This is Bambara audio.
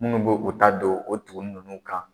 Minnu bɛ u ta don o tugunnin ninnu kan